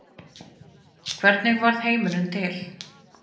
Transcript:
Hvernig varð heimurinn til?